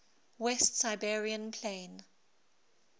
west siberian plain